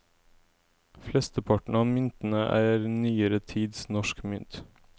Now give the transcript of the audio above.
Flesteparten av myntene er nyere tids norsk mynt.